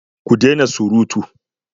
Ku dena surutu!